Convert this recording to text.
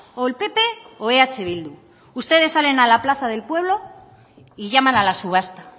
o el pp o eh bildu ustedes salen a la plaza del pueblo y llaman a la subasta